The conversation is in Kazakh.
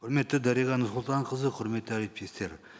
құрметті дариға нұрсұлтанқызы құрметті әріптестер